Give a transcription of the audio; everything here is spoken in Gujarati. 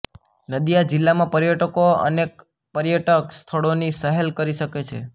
નદિયા જિલ્લામાં પર્યટકો અનેક પર્યટક સ્થળોની સહેલ કરી શકે છે